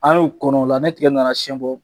An y'o kɔnɔ o la ni tigɛ nana siyɛn bɔ,